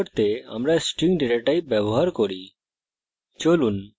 শব্দ তৈরী করতে আমরা string ডেটা type ব্যবহার করি